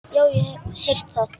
Já, ég hef heyrt það.